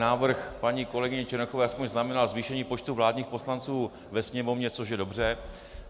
Návrh paní kolegyně Černochové aspoň znamenal zvýšení počtu vládních poslanců ve Sněmovně, což je dobře.